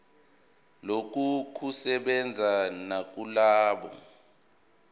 lokhu kusebenza nakulabo